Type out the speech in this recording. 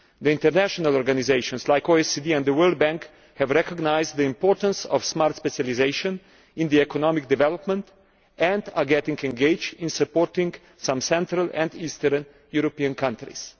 International organisations like the OECD and the World Bank have recognised the importance of smart specialisation in economic development and are becoming engaged in supporting some Central and East European countries.